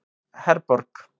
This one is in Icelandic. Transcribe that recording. Herborg